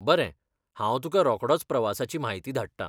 बरें, हांव तुका रोकडोंच प्रवासाची म्हायती धाडटां.